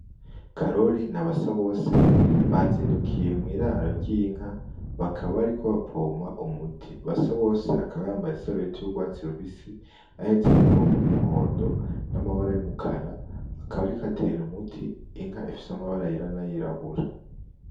Karori na Basabose bazindukiye mw’iraro ry’inka kaba bariko bapompa umuti. Basabose akba yambaye isarubeti y’urwatsi rubisi ahetse n’ipompo y’umuhondo n’amabara y’umukara , akaba ariko atera umuti inka ifise amabara yera n’ayirabura .